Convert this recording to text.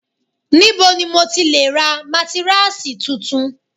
Níbo ni mo ti lè ra mátíráàsì tuntun?